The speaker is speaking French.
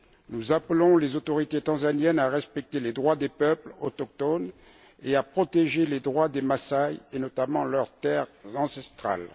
Nous appelons les autorités tanzaniennes à respecter les droits des peuples autochtones et à protéger les droits des Massaï, et notamment leurs terres ancestrales.